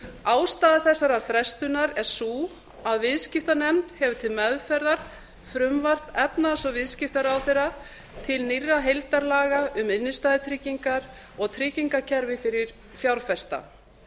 ástæða þessarar frestunar er sú að viðskiptanefnd hefur til meðferðar frumvarp efnahags og viðskiptaráðherra til nýrra heildarlaga um innstæðutryggingar og tryggingakerfi fyrir fjárfesta